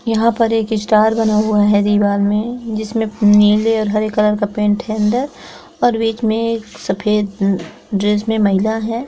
यहाँ पर एक स्टार बना हुआ हैं। दीवाल मैं जिसमे नीले और हरे कलर का पेंट है। अंदर और बिच मैं एक सफ़ेद ड्रेस मैं महिला हैं।